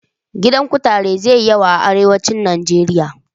Gidan kutare zai yi yawa a arewacin Nijeriya.